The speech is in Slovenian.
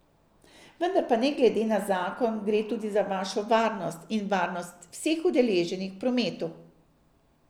Vendar pa ne glede na zakon, gre tudi za vašo varnost in varnost vseh udeleženih v prometu.